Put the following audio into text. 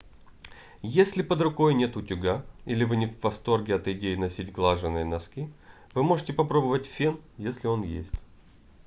если под рукой нет утюга или вы не в восторге от идеи носить глаженые носки вы можете попробовать фен если он есть